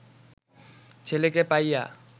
ছেলেকে পাইয়া